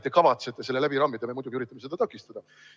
Te kavatsete selle läbi rammida, aga me muidugi üritame seda takistada.